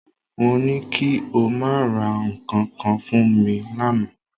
Mo ní kí o máa ra nǹkan kan fún mi lánàá